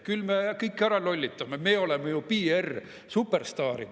Küll me kõik ära lollitame, me oleme ju PR-superstaarid!